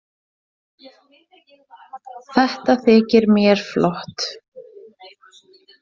Þetta þykir mér flott!